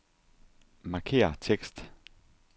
Markér tekst.